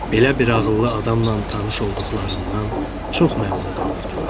Belə bir ağıllı adamla tanış olduqlarından çox məmnun qalırdılar.